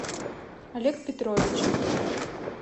олег петрович